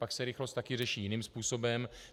Pak se rychlost také řeší jiným způsobem.